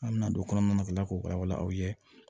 An bɛna don kɔnɔnatigi la k'o wala wala aw ye